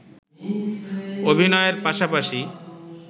অভিনয়ের পাশাপাশি